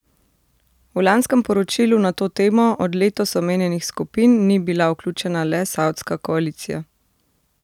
V lanskem poročilu na to temo od letos omenjenih skupin ni bila vključena le savdska koalicija.